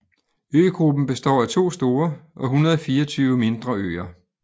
Øgruppen består af to store og 124 mindre øer